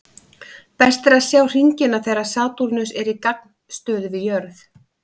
Best er að sjá hringina þegar Satúrnus er í gagnstöðu við jörð.